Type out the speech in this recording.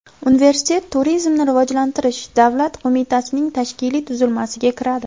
Universitet Turizmni rivojlantirish davlat qo‘mitasining tashkiliy tuzilmasiga kiradi.